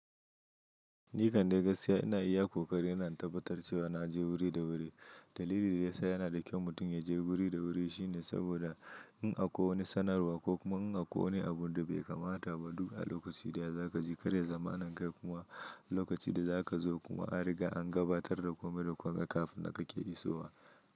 Ni kan da gaskiya ina iya ƙoƙari ina tabbatar da cewa na je wuri da wuri. Dalilin da ya sa yana da kyau mutum ya je wuri da wuri shine saboda in a ko wani sanarwa ko kuma in a ko wani abun da bai kamata ba, duka a lokacin da za ka ji karya zamanin kai kuma lokacin da za ka zo kuma an riga an gabatar da komai da komai kafin da kake iso wa.